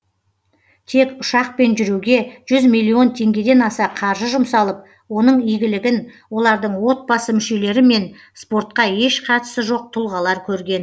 тек ұшақпен жүруге жүз миллион теңгедан аса қаржы жұмсалып оның игілігін олардың отбасы мүшелері мен спортқа еш қатысы жоқ тұлғалар көрген